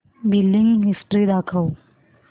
billing history दाखव